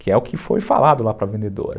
Que é o que foi falado lá para a vendedora.